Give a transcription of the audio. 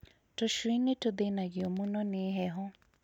Tũcui nĩtũthĩnagio mũno nĩ heho